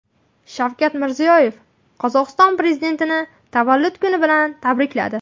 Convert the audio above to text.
Shavkat Mirziyoyev Qozog‘iston prezidentini tavallud kuni bilan tabrikladi.